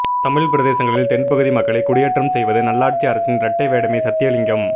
தமிழ் பிரதேசங்களில் தென்பகுதி மக்களை குடியேற்றம் செய்வது நல்லாட்சி அரசின் இரட்டைவேடமே சத்தியலிங்கம்